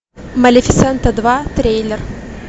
малифисента два трейлер